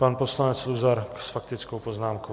Pan poslanec Luzar s faktickou poznámkou.